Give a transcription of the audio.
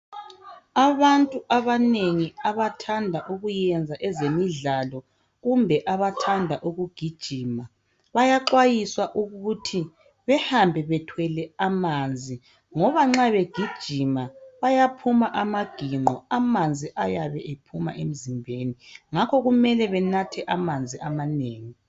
Abantu abanengi abathanda ukuyenza izinto zemidlalo kumbe abathanda ukugijima bsyaxwayiswa ukuthi bahambe bethwele amanzi ngoba nxa begijima bayaphuma amaginqo amanzi ayabe ephuma emzimbeni ngakho kumele banathe amanzi amanengi